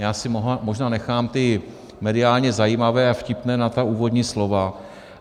Já si možná nechám ty mediálně zajímavé a vtipné na ta úvodní slova.